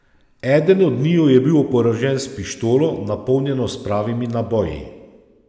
Eden od njiju je bil oborožen s pištolo, napolnjeno s pravimi naboji.